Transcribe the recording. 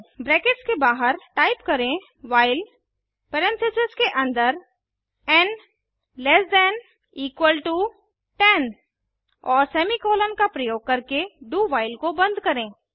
brackets के बाहर type करें व्हाइल परेन्थिसिस के अन्दर और सेमीकॉलन का प्रयोग करके do व्हाइल को बंद करें